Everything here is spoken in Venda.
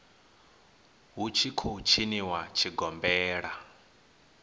hu tshi khou tshiniwa tshigombela